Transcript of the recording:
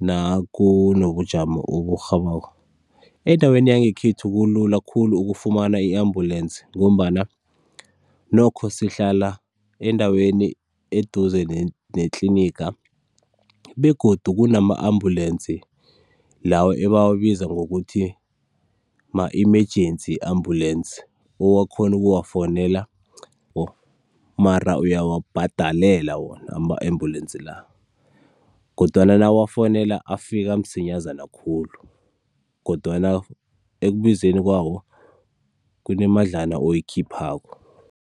nakunobujamo oburhabako? Endaweni yangekhethu kulula khulu ukufumana i-ambulensi ngombana, nokho sihlala endaweni eduze netliniga begodu kunama-ambulensi lawa abawabiza ngokuthi ma-emergency ambulensi owakhona ukuwafowunela mara uyawabhadalela wona ama-ambulensi la, kodwana nawuwafonela afika msinyazana khulu, kodwana ekubizeni kwawo kunemadlana oyikhiphako.